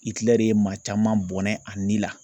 ye maa caman bɔnɛ a ni la.